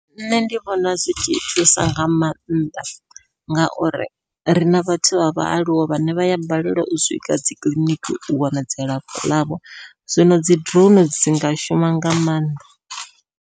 Nṋe ndi vhona zwi tshi thusa nga maanḓa, ngauri rina vhathu vha vhaaluwa vhane vha ya balelwa u swika dzi kiḽiniki u wana dzilafho ḽavho zwino dzi drone dzi nga shuma nga maanḓa.